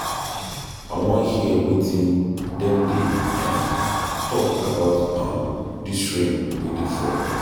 I wan hear wetin dem dey um talk about um dis rain wey dey fall.